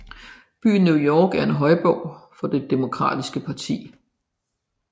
Byen New York er en højborg for det demokratiske parti